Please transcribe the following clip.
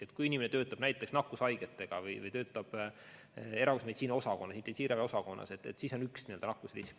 Kui inimene töötab nakkushaigetega või töötab erakorralise meditsiini osakonnas, intensiivravi osakonnas, siis on väga kõrge nakkusrisk.